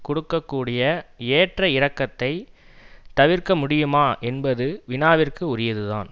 கொடுக்க கூடிய ஏற்ற இறக்கத்தைத் தவிர்க்க முடியுமா என்பது வினாவிற்கு உரியதுதான்